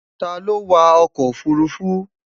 Ta lo wa oko ofurufu?